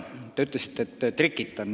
Te ütlesite, et ma trikitan.